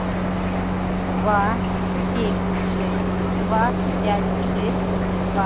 два семь шесть два пять шесть два